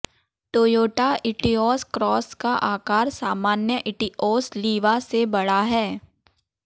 Toyota Etios Cross का आकार सामान्य इटिओस लीवा से बड़ा है